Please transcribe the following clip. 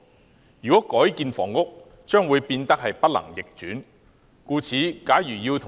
這些用地改建為房屋後將會不能逆轉。